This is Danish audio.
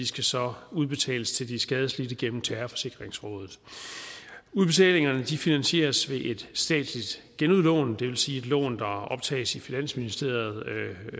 skal så udbetales til de skadeslidte gennem terrorforsikringsrådet udbetalingerne finansieres ved et statsligt genudlån det vil sige et lån der optages af finansministeriet i